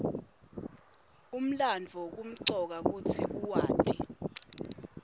umlandvo kumcoka kutsi uwati